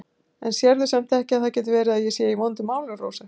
En sérðu samt ekki að það getur verið að ég sé í vondum málum, Rósa?